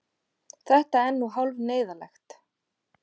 Þetta er nú hálf neyðarlegt.